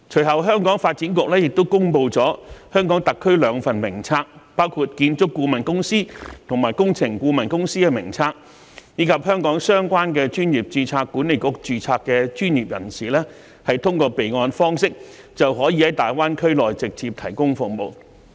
香港的發展局其後亦公布香港特區兩份名冊，包括建築顧問公司和工程顧問公司的名冊，讓香港相關專業註冊管理局的註冊專業人士可通過備案方式，在大灣區內直接提供服務。